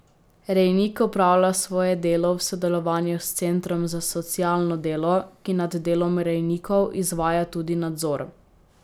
Rejnik opravlja svoje delo v sodelovanju s centrom za socialno delo, ki nad delom rejnikov izvaja tudi nadzor.